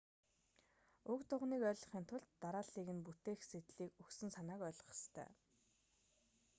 уг дуганыг ойлгохын тулд дарааллыг нь бүтээх сэдлийг өгсөн санааг ойлгох ёстой